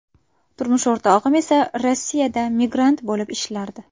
Turmush o‘rtog‘im esa Rossiyada migrant bo‘lib ishlardi.